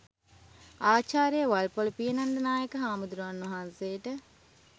ආචාර්ය වල්පොළ පියනන්ද නායක හාමුදුරුවන් වහන්සේට